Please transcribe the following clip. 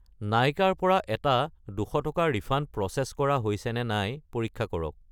নাইকা ৰ পৰা এটা 200 টকাৰ ৰিফাণ্ড প্ৰ'চেছ কৰা হৈছেনে নাই পৰীক্ষা কৰক!